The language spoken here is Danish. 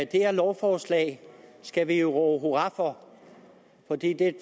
det her lovforslag skal vi jo råbe hurra for fordi det er